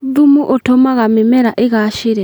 Thumu ũtũmaga mĩmera ĩgacĩre